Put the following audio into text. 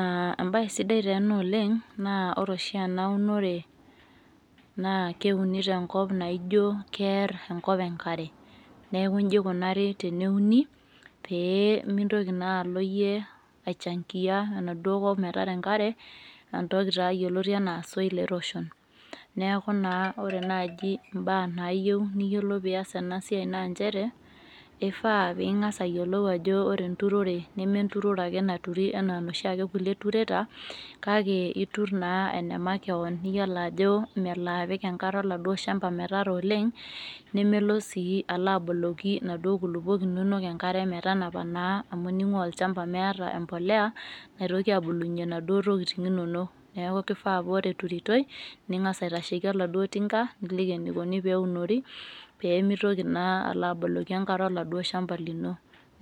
Uh embaye sidai taa ena oleng' naa ore oshi ena unore naa keuni tenkop naijo kerr enkop enkare neeku inji ikunari teneuni pee mintoki naa alo iyie aichangiyia enaduo kop metara enkare entoki taa yioloti anaa soil erosion neeku naa ore naaji imbaa nayieu niyiolou piyas ena siai naa inchere eifaa ping'as ayiolou ajo ore enturore neme enturore ake naturi anaa noshi ake kulie tureta kake iturr naa ene makewon niyioloa ajo melo apik enkare oladuo shamba metara oleng' nemelo sii alo aboloki inaduo kuluok inonok enkare metanapa naa amu ning'ua olchamba meeta empoleya naitoki abulunyie naduo tokiting' inonok neku kifaa paa ore eturitoi ning'as aitasheki oladuo tinka niliki enaikoni pee eunori peemitoki naa alo aboloki enkare oladuo shamba lino